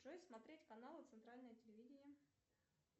джой смотреть каналы центральное телевидение